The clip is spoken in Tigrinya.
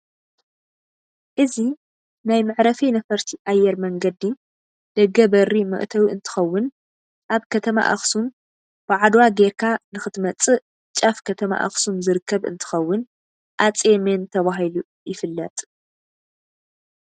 እዚ ናይ ምዕሪፊ ነፍርቲ ኣየር መንገዲ ደገ በሪ መእተዊ እንትከውን ኣብ ከተማ ኣክሱም ብዓድዋ ገይርካ ንክትመፅእ ጫፍ ከተማ ኣክሱም ዝርከብ እንትከውን ኣፄ መን ትባሂሉ ይፍለጥ?